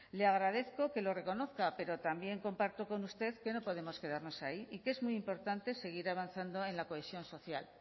le agradezco que lo reconozca pero también comparto con usted que no podemos quedarnos ahí y que es muy importante seguir avanzando en la cohesión social